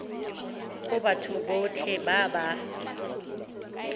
go batho botlhe ba ba